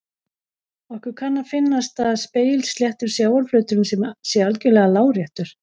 Okkur kann að finnast að spegilsléttur sjávarflöturinn sé algjörlega láréttur.